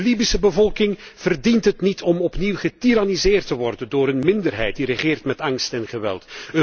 De Libische bevolking verdient het niet om opnieuw getiranniseerd te worden door een minderheid, die regeert met angst en geweld.